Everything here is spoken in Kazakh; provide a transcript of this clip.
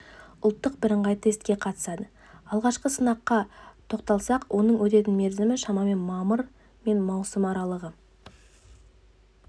ұлттық бірыңғай тестке қатысады алғашқы сынаққа тоқталсақ оның өтетін мерзімі шамамен мамыр мен маусым аралығы